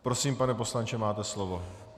Prosím, pane poslanče, máte slovo.